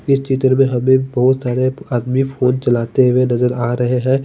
इस चित्र में हमे बहोत ज्यादा आदमी फ़ोन चलते हुए नज़र आरहे है।